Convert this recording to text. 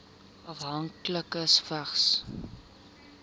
afhanklikes vigs